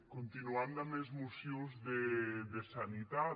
continuant damb es mocions de sanitat